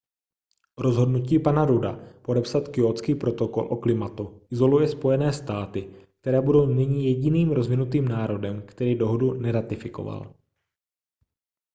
rozhodnutí pana rudda podepsat kjótský protokol o klimatu izoluje spojené státy které budou nyní jediným rozvinutým národem který dohodu neratifikoval